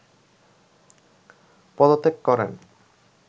পদত্যাগ করেন